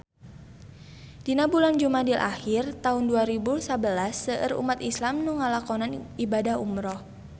Dina bulan Jumadil ahir taun dua rebu sabelas seueur umat islam nu ngalakonan ibadah umrah